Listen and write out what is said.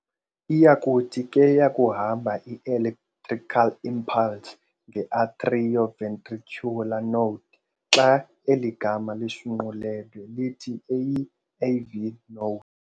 Iyakuthi ke yakuhamba i-electrical impulse nge-atrio-ventricular node Xa eli gama lishunqulwe lithi AV Node.